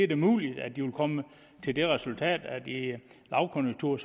da muligt at de vil komme til det resultat at i en lavkonjunktur